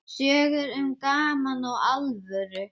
Sögur um gaman og alvöru.